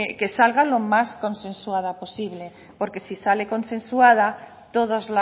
que salga lo más consensuada posible porque si sale consensuada todos